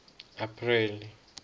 apreli